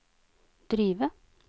drive